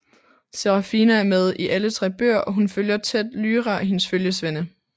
Serafina er med i alle 3 bøger og hun følger tæt Lyra og hendes følgesvende